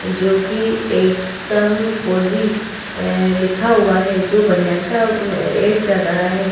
जोकि एकदम कोज़ी ऐ लिखा हुआ है जो बनियान का उम्म ऐड कर रहा है।